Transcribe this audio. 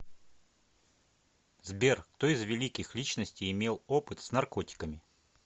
сбер кто из великих личностей имел опыт с наркотиками